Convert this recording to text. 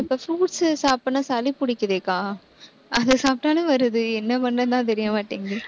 இப்ப fruits சாப்பிட்டேன்னா சளி பிடிக்குதேக்கா அதை சாப்பிட்டாலும் வருது. என்ன பண்றதுன்னுதான் தெரியமாட்டேங்குது.